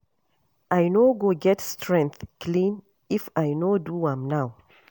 I no go get strength clean if I no do am now